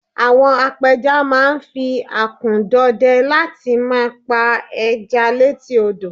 àwọn apẹja ma n fi akun dọdẹ láti ma pa eja létí odo